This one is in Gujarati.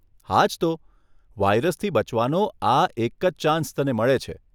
હાજ તો, વાઈરાસથી બચવાનો આ એક જ ચાંસ તને મળે છે.